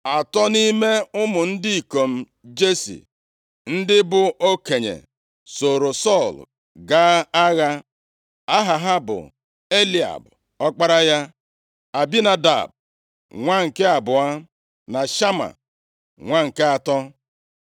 Atọ nʼime ụmụ ndị ikom Jesi, ndị bụ okenye, soro Sọl gaa agha. Aha ha bụ Eliab, ọkpara ya, Abinadab, nwa nke abụọ na Shama, nwa nke atọ.